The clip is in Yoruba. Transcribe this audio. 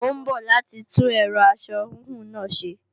Ó ń bọ̀ láti tún ẹ̀rọ aṣọ híhun náà ṣe